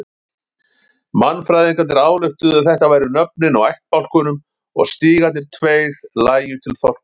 Mannfræðingarnir ályktuðu að þetta væru nöfnin á ættbálkunum og stígarnir tveir lægju til þorpa þeirra.